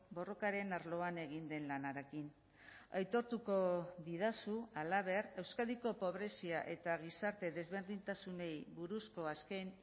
borrokaren arloan egin den lanarekin aitortuko didazu halaber euskadiko pobrezia eta gizarte desberdintasunei buruzko azken